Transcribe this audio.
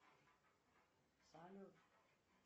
салют